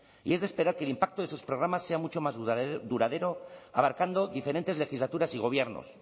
y es de esperar que el impacto de esos programas sea mucho más duradero abarcando diferentes legislaturas y gobiernos